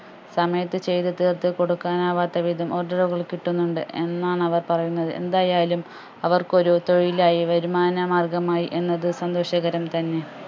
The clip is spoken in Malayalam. സമയത്ത് ചെയ്തു തീർത്ത് കൊടുക്കാൻ ആവാത്ത വിധം order കൾ കിട്ടുന്നുണ്ട് എന്നാണ് അവർ പറയുന്നത് എന്തായാലും അവർക്കൊരു തൊഴിലാഴി വരുമാന മാർഗമായി എന്നത് സന്തോഷകരം തന്നെ